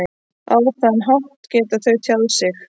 Á þann hátt geta þau tjáð sig.